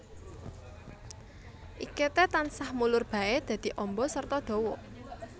Iketé tansah mulur baé dadi amba serta dawa